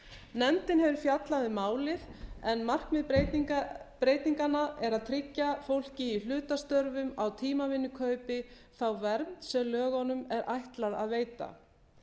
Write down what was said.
nefndin hefur fjallað um málið en markmið breytinganna er að tryggja fólki í hlutastörfum á tímavinnukaupi þá vernd sem lögunum er ætlað að veita